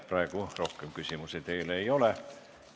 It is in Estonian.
Praegu teile rohkem küsimusi ei ole.